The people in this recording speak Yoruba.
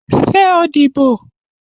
Ṣé o díbò?